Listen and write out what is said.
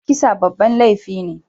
Kisa babban laifi ne.